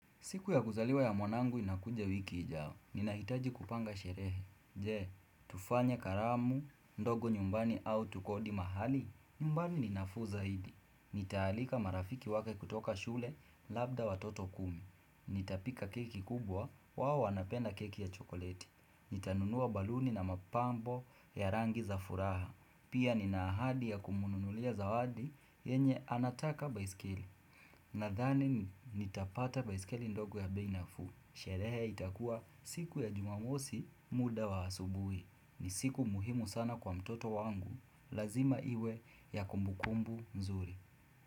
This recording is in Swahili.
Siku ya kuzaliwa ya mwanangu inakuja wiki ijayo, ninahitaji kupanga sherehe. Je, tufanye karamu ndogo nyumbani au tukodi mahali? Nyumbani ni nafuu zaidi. Nitaalika marafiki wake kutoka shule, labda watoto kumi. Nitapika keki kubwa, wao wanapenda keki ya chokoleti. Nitanunua baluni na mapambo ya rangi za furaha. Pia nina ahadi ya kumunulia zawadi, yenye anataka baiskeli. Nadhani nitapata baisikeli ndogo ya bei nafuu. Sherehe itakuwa siku ya jumamosi muda wa asubuhi, ni siku muhimu sana kwa mtoto wangu, lazima iwe ya kumbukumbu nzuri.